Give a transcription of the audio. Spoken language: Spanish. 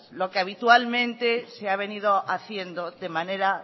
lo que habitualmente se ha venido haciendo de manera